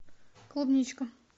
клубничка